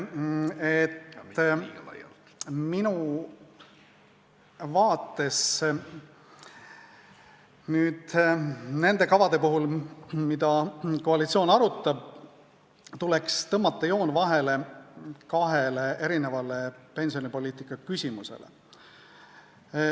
Minu arvates tuleks nende kavade puhul, mida koalitsioon arutab, tõmmata joon vahele kahele erinevale pensionipoliitika küsimusele.